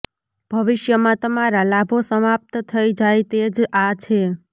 ભવિષ્યમાં તમારા લાભો સમાપ્ત થઈ જાય તે જ આ છે